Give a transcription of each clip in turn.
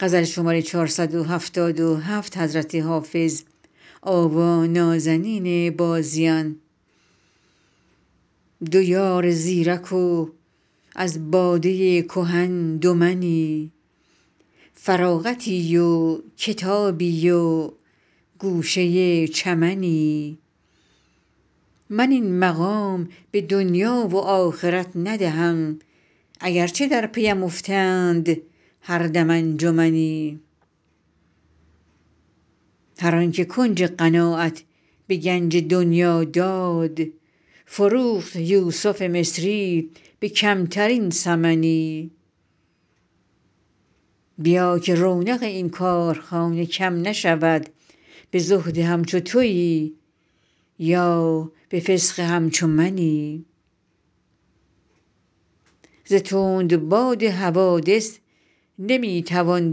دو یار زیرک و از باده کهن دو منی فراغتی و کتابی و گوشه چمنی من این مقام به دنیا و آخرت ندهم اگر چه در پی ام افتند هر دم انجمنی هر آن که کنج قناعت به گنج دنیا داد فروخت یوسف مصری به کمترین ثمنی بیا که رونق این کارخانه کم نشود به زهد همچو تویی یا به فسق همچو منی ز تندباد حوادث نمی توان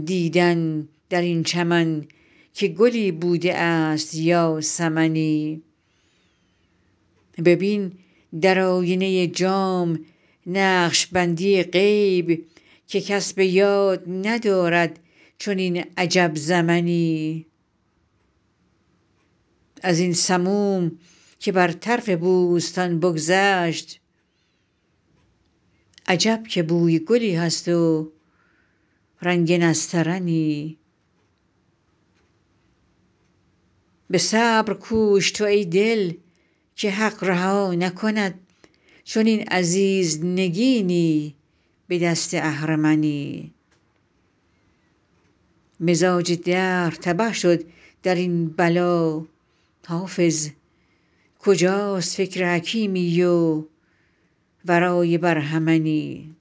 دیدن در این چمن که گلی بوده است یا سمنی ببین در آینه جام نقش بندی غیب که کس به یاد ندارد چنین عجب زمنی از این سموم که بر طرف بوستان بگذشت عجب که بوی گلی هست و رنگ نسترنی به صبر کوش تو ای دل که حق رها نکند چنین عزیز نگینی به دست اهرمنی مزاج دهر تبه شد در این بلا حافظ کجاست فکر حکیمی و رای برهمنی